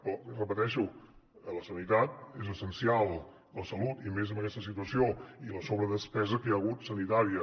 però ho repeteixo la sanitat és essencial la salut i més en aquesta situació i la sobredespesa que hi ha hagut sanitària